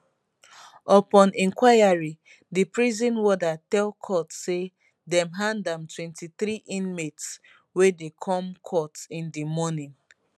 upon inquiry di prison warder tell court say dem hand am 23 inmates wey dey come court in di morning